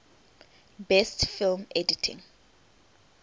best film editing